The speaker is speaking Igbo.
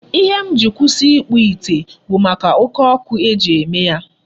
Ihe m ji si kwụsị ịkpụ ite bụ maka oke ọkụ eji eme ya.